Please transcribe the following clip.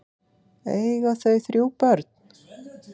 Eiga þau þrjú börn.